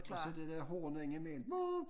Og så det der horn indimellem båt